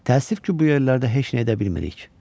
Təəssüf ki, bu yerlərdə heç nə edə bilmirik.